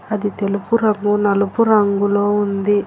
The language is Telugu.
అది తెలుపు రంగు నలుపు రంగులో ఉంది.